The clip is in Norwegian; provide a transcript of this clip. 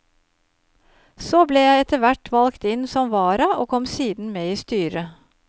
Så ble jeg etterhvert valgt inn som vara og kom siden med i styret.